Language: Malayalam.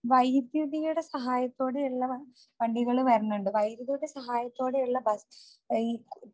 വൈദ്യുതിയുടെ സഹായത്തോടെയുള്ള വണ്ടികള് വരണുണ്ട്. വൈദ്യുതിയുടെ സഹായത്തോടെയുള്ള ബ ഈ